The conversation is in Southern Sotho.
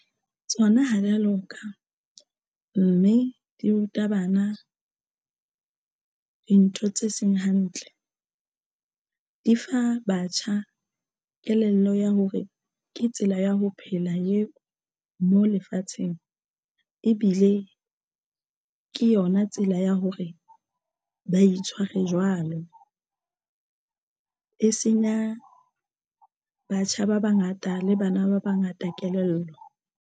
Tsona ha di ya loka mme di ruta bana dintho tse seng hantle di fa batjha kelello ya hore ke tsela ya ho phela eo mo lefatsheng ebile ke yona tsela ya hore ba itshware jwalo. E senya batjha ba bangata le bana ba bangata kelello.